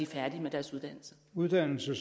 færdige med deres uddannelse